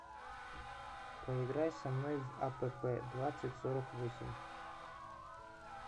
поиграй со мной в апп двадцать сорок восемь